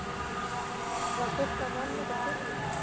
Var fólk að vanmeta Stjörnuna?